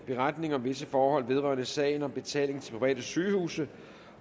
beretning om visse forhold vedrørende sagen om betaling til private sygehuse